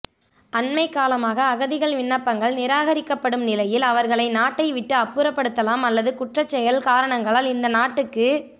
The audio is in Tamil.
அண்மைகாலமாக அகதிகள் விண்ணப்பங்கள் நிராகரிக்கப்படும் நிலையில் அவர்களை நாட்டைவிட்டு அப்புறப்படுத்தலாம் அல்லது குற்றச் செயல காரணங்களால் இந்த நாட்டுக்கு